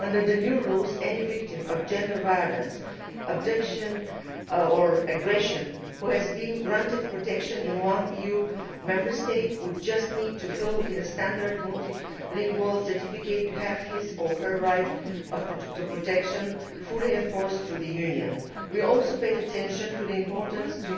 Under the new rules, any victim of gender violence, abduction or aggression who has been granted protection in one EU Member State would just need to fill in a standard multilingual certificate to have his or her right to protection fully enforced by the Union. We also paid attention to the importance